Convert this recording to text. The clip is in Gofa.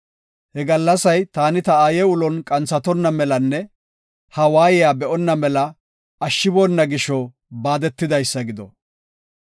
He gallasay taani ta aaye ulon qanthatonna melanne ha waayiya be7onna mela ashshiboona gisho baadetidaysa gido.